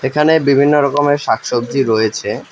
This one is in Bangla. এখানে বিভিন্ন রকমের শাক সবজি রয়েছে।